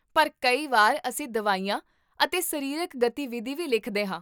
ਪਰ ਕਈ ਵਾਰ ਅਸੀਂ ਦਵਾਈਆਂ ਅਤੇ ਸਰੀਰਕ ਗਤੀਵਿਧੀ ਵੀ ਲਿਖਦੇ ਹਾਂ